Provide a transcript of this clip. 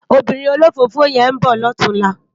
Óbìrín ólófófó yèn n bò lòtúnlá